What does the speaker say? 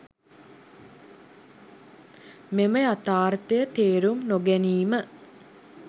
මෙම යථාර්ථය තේරුම් නොගැනීම